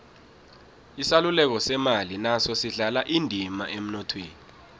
isaluleko semali naso sidlala indima emnothweni